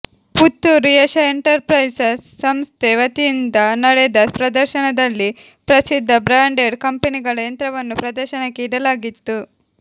Puttur Yasha enterprises ಸಂಸ್ಥೆ ವತಿಯಿಂದ ನಡೆದ ಪ್ರದರ್ಶನದಲ್ಲಿ ಪ್ರಸಿದ್ಧ ಬ್ರಾಂಡೆಡ್ ಕಂಪೆನಿಗಳ ಯಂತ್ರವನ್ನು ಪ್ರದರ್ಶನಕ್ಕೆ ಇಡಲಾಗಿತ್ತು